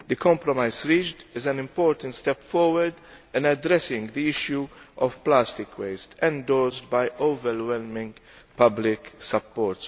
The compromise reached is an important step forward in addressing the issue of plastic waste, endorsed by overwhelming public support.